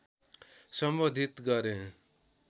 सम्बोधित गरे